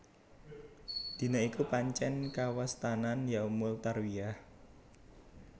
Dina iku pancèn kawastanan Yaumul Tarwiyah